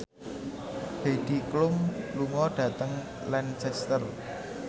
Heidi Klum lunga dhateng Lancaster